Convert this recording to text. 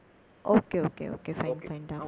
okay okay okay Okay fine fine டா